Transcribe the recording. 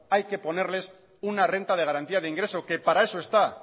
hay que ponerles una renta de garantía de ingreso que para eso está